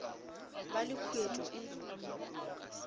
ba le khuet o e